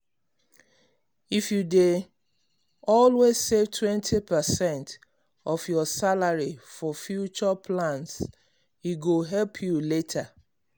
if you dey you dey always save 20 percent of your salary for future plans e go help you later.